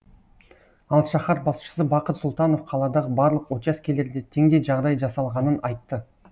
ал шаһар басшысы бақыт сұлтанов қаладағы барлық учаскелерде теңдей жағдай жасалғанын айтты